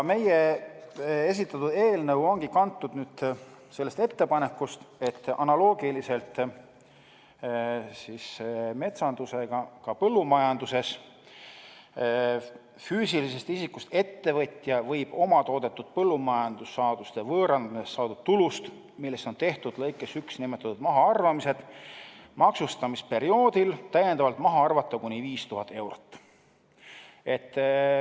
Meie esitatud eelnõu ongi kantud sellest ettepanekust, et analoogiliselt metsandusega võib ka põllumajanduses füüsilisest isikust ettevõtja omatoodetud põllumajandussaaduste võõrandamisest saadud tulust, millest on tehtud lõikes 1 nimetatud mahaarvamised, maksustamisperioodil täiendavalt maha arvata kuni 5000 eurot.